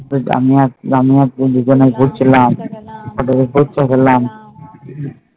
করছিলাম গেলাম